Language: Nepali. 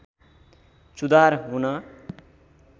सुधार हुन